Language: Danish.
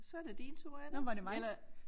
Så det din tur er det ikke eller